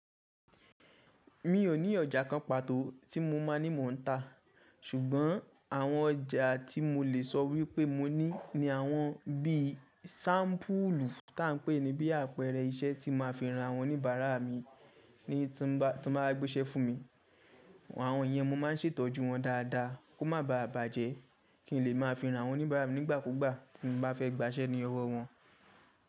Mi ò ní ọjà kan pàtó tí mo má ní mò ń ta, ṣùgbọ́n àwọn ọjà tí mo lè sọ wípé mo ní ni àwọn bí i ṣampulu tá ń pè ní bí àpẹrẹ iṣẹ́ tí má fi ran àwọn oníbàárà mi ni tí wọ́n bá gbéṣẹ́ fún mi. Àwọn yẹn mo má ń ṣètọ́jú wọn dáadáa kó má baà bàjẹ́ kí n lè má fi ran àwọn oníbàárà mi nígbà kúgbà tí mo bá fẹ́ gbàṣẹ́ ní ọwọ́ wọn.